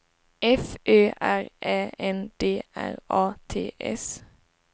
F Ö R Ä N D R A T S